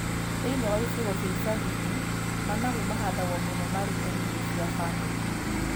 Thĩiniĩ wa icigo cia icagi-inĩ, managu mahandagwo mũno marĩ ta irio cia bamĩrĩ.